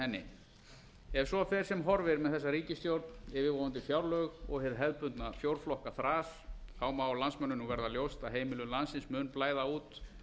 henni ef svo fer sem horfir með þessa ríkisstjórn yfirvofandi fjárlög og hið hefðbundna fjórflokkaþras má landsmönnum nú verða ljóst að heimilum landsins mun blæða út